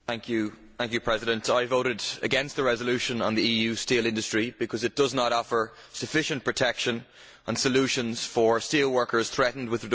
Mr President, I voted against the resolution on the EU steel industry because it does not offer sufficient protection and solutions for steel workers threatened with redundancy.